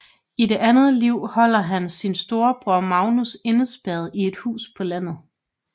I det andet liv holder han sin storebror Magnus indespærret i et hus på landet